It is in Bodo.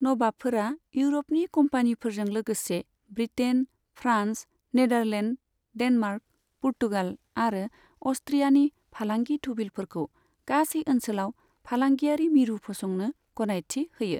नबाबफोरा इउर'पनि कम्पानिफोरजों लोगोसे ब्रिटेन, फ्रान्स, नेडारलेन्ड, डेनमार्क, पुर्तगाल आरो अ'स्ट्रियानि फालांगि थुबिलफोरखौ गासै ओनसोलाव फालांगियारि मिरु फसंनो गनायथि होयो।